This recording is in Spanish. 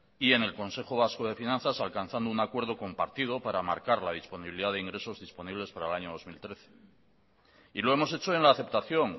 y en el consejo vasco de finanzas alcanzando un acuerdo compartido para marcar la disponibilidad de ingresos disponibles para el año dos mil trece y lo hemos hecho en la aceptación